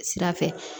Sira fɛ